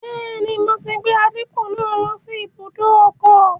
Bẹ́ẹ̀ni, mo ti gbé àdìpọ̀ náà lọ sí ibùdó ọkọ̀